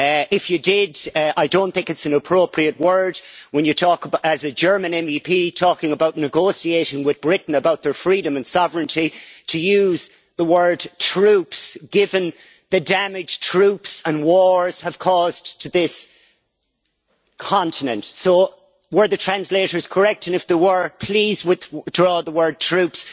If you did, I do not think it is an appropriate word, when you talk as a German MEP talking about negotiation with Britain about their freedom and sovereignty, to use the word troops' given the damage troops and wars have caused to this continent. Were the interpreters correct? If they were, please withdraw the word troops'.